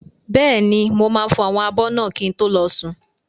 Bẹ́ẹ̀ni, mo máa fọ àwọn abọ́ náà kí n tó lọ sùn.